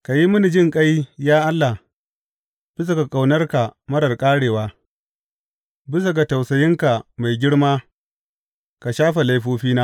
Ka yi mini jinƙai, ya Allah, bisa ga ƙaunarka marar ƙarewa; bisa ga tausayinka mai girma ka shafe laifofina.